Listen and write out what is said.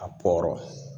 A pɔrɔn